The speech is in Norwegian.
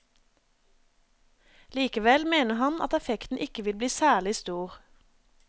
Likevel mener han at effekten ikke vil bli særlig stor.